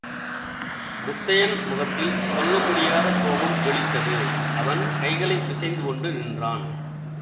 முத்தையன் முகத்தில் சொல்ல முடியாத கோபம் ஜொலித்தது அவன் கைகளை பிசைந்து கொண்டு நின்றான்